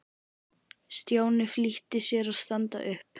Stjáni flýtti sér að standa upp.